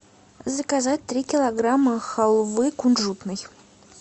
заказать три килограмма халвы кунжутной